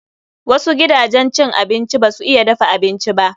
Wasu gidajen cin abinci ba su iya dafa abinci ba.